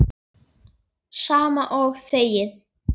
Sama og þegið!